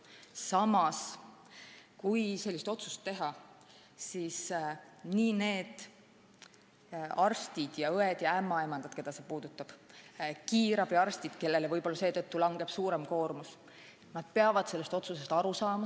Samas, kui selline otsus teha, siis need arstid, õed ja ämmaemandad, keda see puudutab, ka kiirabiarstid, kellele võib-olla seetõttu langeb suurem koormus, peavad sellest otsusest aru saama.